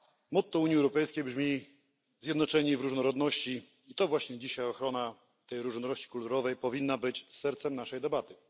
Motto Unii Europejskiej brzmi Zjednoczeni w różnorodności i to właśnie dzisiaj ochrona tej różnorodności kulturowej powinna być sercem naszej debaty.